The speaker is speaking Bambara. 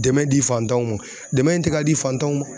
Dɛmɛ di fantanw ma, dɛmɛ in tɛ ka di fantanw ma